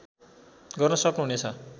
गर्न सक्नुहुने छ